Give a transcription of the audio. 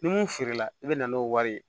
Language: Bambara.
Ni mun feere la i bɛ na n'o wari ye